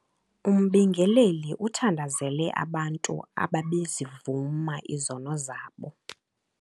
Umbingeleli uthandazele abantu abebezivuma izono zabo.